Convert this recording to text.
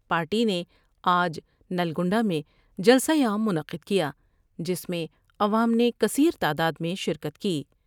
Party نے آج نلگنڈہ میں جلسہ عام منعقد کیا جس میں عوام نے کثیر تعداد میں شرکت کی ۔